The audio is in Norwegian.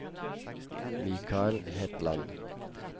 Michael Hetland